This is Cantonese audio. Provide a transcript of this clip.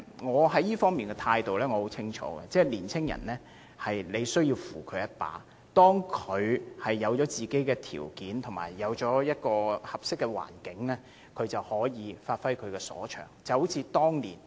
我在這方面的態度十分清晰，我認為年青人需要扶助，當他們具備條件及建立合適的環境後，便可以發揮所長。